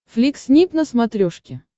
флик снип на смотрешке